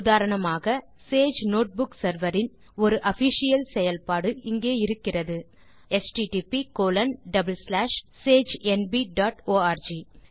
உதாரணமாக Sage notebook server இன் ஒரு ஆஃபிஷியல் செயல்பாடு இங்கே இயங்குகிறது HTTP colon double slash sagenb dot arc